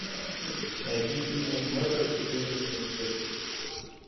найти фильмик мэтр и призрачный свет